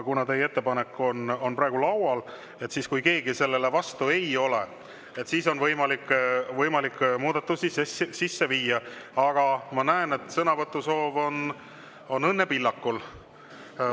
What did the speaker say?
Kuna teie ettepanek on praegu laual, on võimalik muudatusi sisse viia, kui keegi sellele vastu ei ole, aga ma näen, et sõnavõtusoov on Õnne Pillakul.